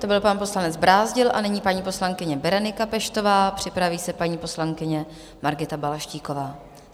To byl pan poslanec Brázdil a nyní paní poslankyně Berenika Peštová, připraví se paní poslankyně Margita Balaštíková.